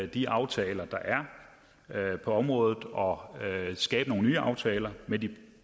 de aftaler der er på området og skabe nogle nye aftaler med de